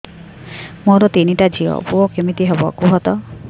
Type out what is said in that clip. ମୋର ତିନିଟା ଝିଅ ପୁଅ କେମିତି ହବ କୁହତ